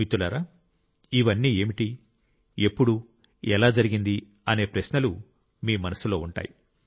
మిత్రులారా ఇవన్నీ ఏమిటి ఎప్పుడు ఎలా జరిగింది అనే ప్రశ్న మీ మనస్సులో ఉంటుంది